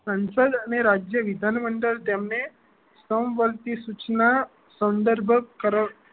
સંસદ અને રાજ્ય વિધાન મંત્રી તેમને સ્તંભ વર્તીય સૂચના સંદર્ભ કરાવતી